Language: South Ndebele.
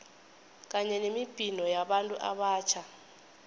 kanye nemibhino yabantu abatjha